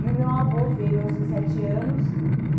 E o meu avô veio aos dezessete anos.